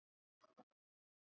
Þetta getur ekki verið rétt.